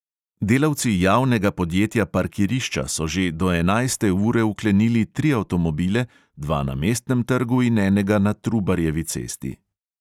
Delavci javnega podjetja parkirišča so že do enajste ure vkleniti tri avtomobile, dva na mestnem trgu in enega na trubarjevi cesti.